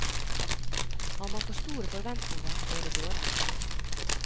Har man for store forventninger går det dårlig.